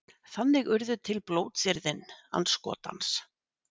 þannig urðu til blótsyrðin andskotans